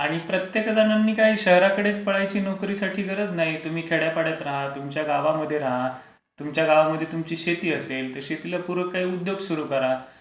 आणि प्रत्येक जणांनी काही शहरकडेच पळायची नोकरीसाठी काही गरज नाही. तुम्ही खेड्या पाड्यात रहा, तुमच्या गावामध्ये रहा. तुमच्या गावामध्ये तुमची शेती असेल, त्या शेतीला पुरक काही उद्योग सुरू करा.